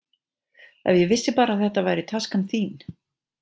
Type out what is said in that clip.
Ef ég vissi bara að þetta væri taskan þín.